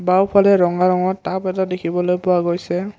বাওঁফালে ৰঙা ৰঙৰ টাব এটা দেখিবলৈ পোৱা গৈছে।